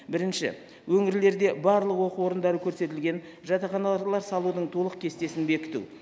бірінші өңірлерде барлық оқу орындары көрсетілген жатақханалар салудың толық кестесін бекіту